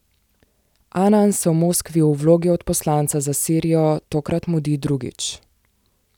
Anan se v Moskvi v vlogi odposlanca za Sirijo tokrat mudi drugič.